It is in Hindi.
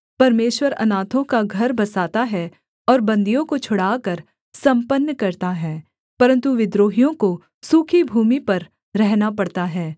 परमेश्वर अनाथों का घर बसाता है और बन्दियों को छुड़ाकर सम्पन्न करता है परन्तु विद्रोहियों को सूखी भूमि पर रहना पड़ता है